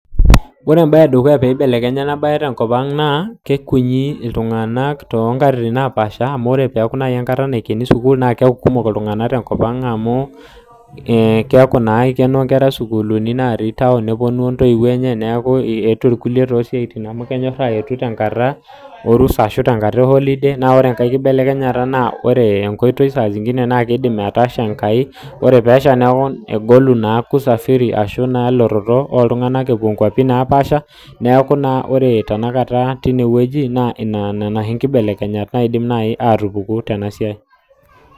ore embaye piibelekenya ena baye tenkop ang naa kikutik iltunanak ebolo sukuul kake ore ikeno naa kikumok naa amuu keeku ketii nkera ang naa keponu sii iltunganak inkangitie lootii isiaitin naa ore ekae kibelekenyata naa kegolu usafiri neeku nena inkibelekenyat nadol nanuajo kepuku tena siai